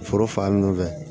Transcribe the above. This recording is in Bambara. Foro fan munnu fɛ